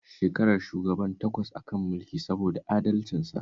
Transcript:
Shekarar shugaban ƙasar takwas a kan mulki saboda adalcinsa